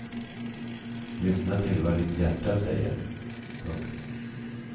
Lyssna till vad ditt hjärta säger. punkt